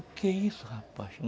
O que é isso, rapaz?